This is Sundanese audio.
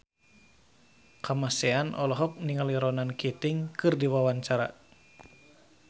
Kamasean olohok ningali Ronan Keating keur diwawancara